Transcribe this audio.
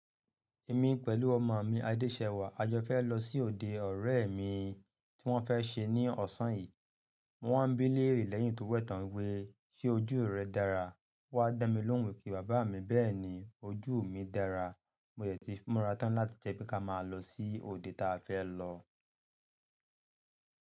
Èmi pẹ̀lú ọmọ mi Adéṣẹwà, a jọ fẹ́ lọ sí òde ọ̀rẹ́ mi tí wọ́n fẹ́ ṣe ní ọ̀sán yìí. Mo wá ń bí léèrè lẹ́yìn tó wẹ̀tàn wí "ṣé ojú rẹ dára?" Ówá dá mi lóhùn wí pé bàbá mi bẹ́ẹ̀ ni, ojú mi dára. Mo yẹ̀ ti múra tán láti jẹ́ pé ká máa lọ sí òde táa fẹ́ lọ.